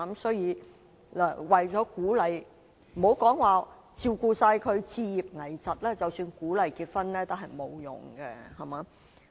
所以，為了鼓勵——不要說照顧他們置業、危疾的需要——即使鼓勵結婚，也沒有用。